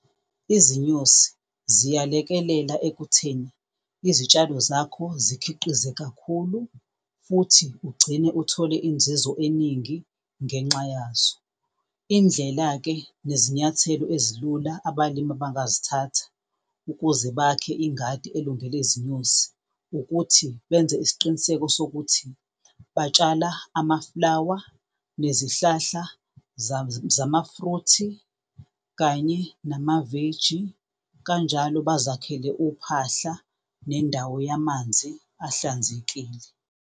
Izinyosi ziyalekela ekutheni izitshalo zakho zikhiqize kakhulu futhi ugcine uthole inzuzo eningi ngenxa yazo. Indlela-ke nezinyathelo ezilula abalimi abangazithatha ukuze bakhe ingadi elungele izinyosi ukuthi benze isiqiniseko sokuthi batshala ama-flower nezihlahla zamafruthi, kanye namaveji, kanjalo bazakhele uphahla nendawo yamanzi ahlanzekile.